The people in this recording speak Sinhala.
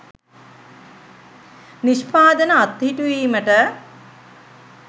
නිෂ්පාදන අත්හිටුවීමට